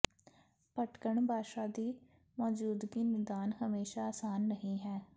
ਭਟਕਣ ਭਾਸ਼ਾ ਦੀ ਮੌਜੂਦਗੀ ਨਿਦਾਨ ਹਮੇਸ਼ਾ ਆਸਾਨ ਨਹੀ ਹੈ